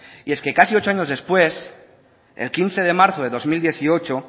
y es que casi ocho años después el quince de marzo de dos mil dieciocho